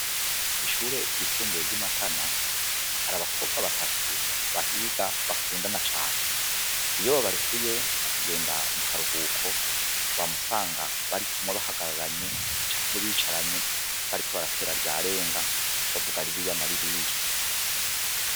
Ishure ryisumbuye ryi Matana hari abakobwa batatu bahiga bakundana cane. Iyo babarekuye bakagenda mu karuhuko, wama usanga barikumwe, bahagararanye canke bicaranye, bariko baratera ryarenga bavuga ririya na ririya.